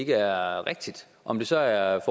er rigtigt om det så er er